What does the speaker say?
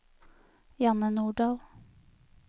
Janne Nordal